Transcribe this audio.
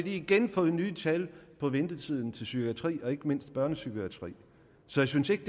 igen nye tal på ventetiden til psykiatrien og ikke mindst børnepsykiatrien så jeg synes ikke